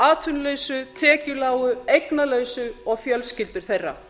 atvinnulausu tekjulágu eignalausu og fjölskyldur þeirra